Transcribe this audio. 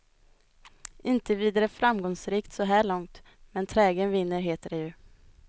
Inte vidare framgångsrikt så här långt, men trägen vinner heter det ju.